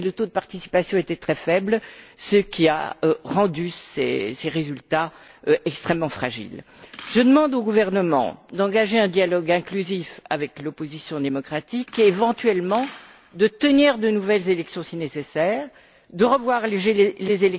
Toutefois, le taux de participation était très faible, ce qui a rendu ces résultats extrêmement fragiles. Je demande au gouvernement d'engager un dialogue inclusif avec l'opposition démocratique et éventuellement de tenir de nouvelles élections, si nécessaire, de revoir les...